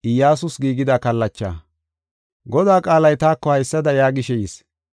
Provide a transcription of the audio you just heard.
Godaa qaalay taako haysada yaagishe yis: